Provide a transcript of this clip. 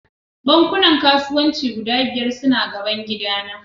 Bankunan kasuwanci guda biyar suna gaban gidana